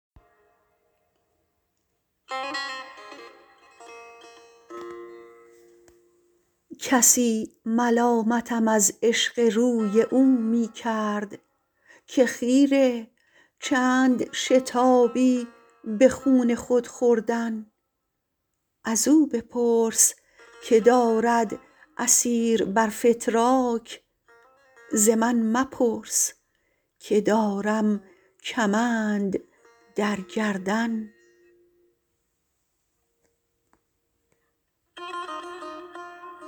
کسی ملامتم از عشق روی او می کرد که خیره چند شتابی به خون خود خوردن ازو بپرس که دارد اسیر بر فتراک ز من مپرس که دارم کمند در گردن